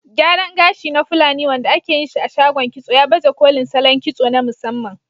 Gyaran gashi na fulani, wanda ake yin shi a shagon kitso, ya baje kolin salon kitso na musamman.